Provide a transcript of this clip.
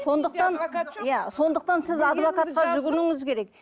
сондықтан иә сондықтан сіз адвокатқа жүгінуіңіз керек